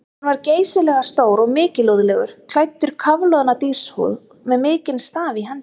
Hann var geysilega stór og mikilúðlegur, klæddur í kafloðna dýrshúð með mikinn staf í hendi.